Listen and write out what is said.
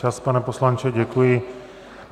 Čas, pane poslanče, děkuji.